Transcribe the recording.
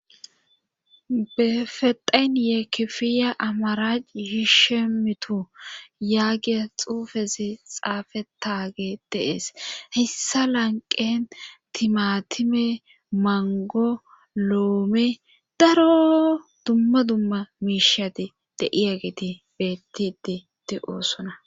befedhayn yee kifiya amara hishemitu yaagiya xuufezi xaafe taage deees hessa lanqen timatime mangoloome daro dumma dumma miishati de7iageti bettititi oosona